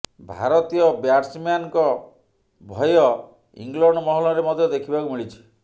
ଭାରତୀୟ ବ୍ୟାଟସମ୍ୟାନଙ୍କ ଭୟ ଇଂଲଣ୍ଡ ମହଲରେ ମଧ୍ୟ ଦେଖିବାକୁ ମିଳିଛି